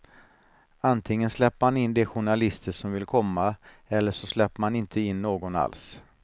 Antingen släpper man in de journalister som vill komma eller så släpper man inte in någon alls.